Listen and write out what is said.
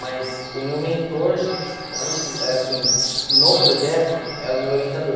Mas o meu mentor no projeto, é o meu orientador.